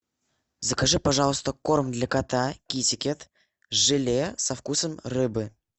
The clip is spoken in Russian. закажи пожалуйста корм для кота китикэт желе со вкусом рыбы